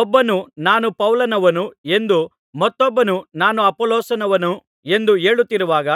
ಒಬ್ಬನು ನಾನು ಪೌಲನವನು ಎಂದು ಮತ್ತೊಬ್ಬನು ನಾನು ಅಪೊಲ್ಲೋಸನವನು ಎಂದು ಹೇಳುತ್ತಿರುವಾಗ